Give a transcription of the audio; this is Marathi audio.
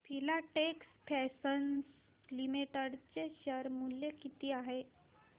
फिलाटेक्स फॅशन्स लिमिटेड चे शेअर मूल्य किती आहे